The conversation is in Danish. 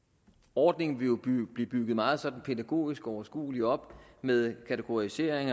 ordningen vil jo blive bygget meget sådan pædagogisk og overskueligt op med kategorisering